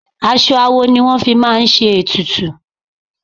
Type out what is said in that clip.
Aṣọ awo ni wọ́n fi máa ń ṣe ètùtù.